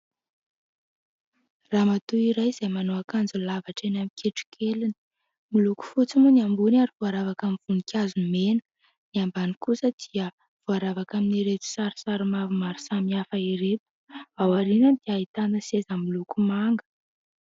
Ramatoa iray izay manao akanjo lava hatreny amin'ny kitrokeliny. Miloko fotsy moa ny ambony ary voaravaka amin'ny voninkazo mena, ny ambany kosa dia voaravaka amin'ireto sarisary maromaro samihafa ireto. Aoriana dia ahitana seza miloko manga.